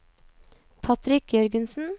Patrick Jørgensen